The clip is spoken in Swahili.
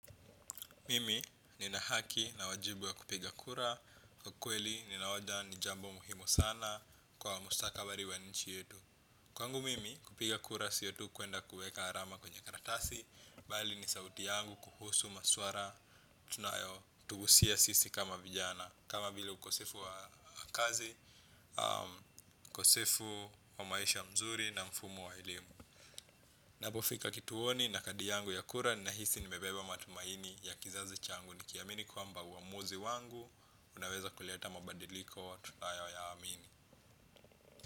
Mimi nina haki na wajibu ya kupiga kura, kwa kweli ninaona ni jambo muhimu sana kwa mustakabali wa nchi yetu. Kwangu mimi kupiga kura sio tu kwenda kuweka alama kwenye karatasi, bali ni sauti yangu kuhusu maswala tunayo tuhusia sisi kama vijana. Kama vile ukosefu wa kazi, ukosefu wa maisha mzuri na mfumo wa elimu. Napofika kituoni na kadi yangu ya kura ninahisi nimebeba matumaini ya kizazi changu nikiamini kwamba uamuzi wangu unaweza kuleta mabadiliko wa tunayo ya amini.